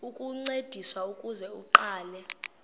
ukuncediswa ukuze aqale